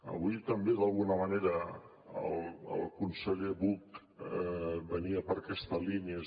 avui també d’alguna manera el conseller buch anava per aquesta línia